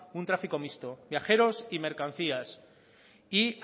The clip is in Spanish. un tráfico mixto viajeros y mercancías y